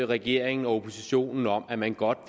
regeringen og oppositionen om at man godt